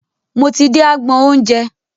Mo ti dé agbọn oúnjẹ.